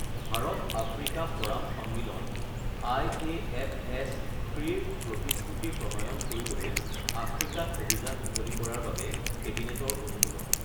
Bharat Africa forum সন্মিলন IAFS III ৰ প্ৰতিশ্ৰুতি প্ৰণয়ন কৰিবলৈ আফ্ৰিকাত অভিযান মুকলি কৰাৰ বাবে কেবিনেটৰ অনুমোদন